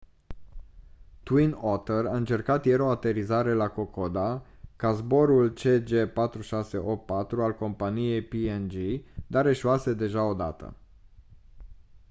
twin otter a încercat ieri o aterizare la kokoda ca zborul cg4684 al companiei png dar eșuase deja o dată